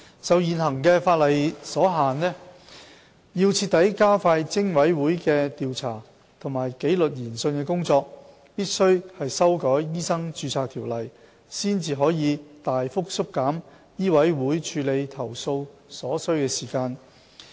受現行法例所限，要徹底加快偵委會的調查及紀律研訊的工作，必須修改《醫生註冊條例》，才可大幅縮減醫委會處理投訴所需的時間。